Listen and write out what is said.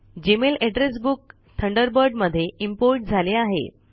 Gmail address book Thunderbird मध्ये import झाले आहे